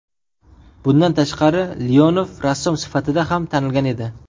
Bundan tashqari, Leonov rassom sifatida ham tanilgan edi.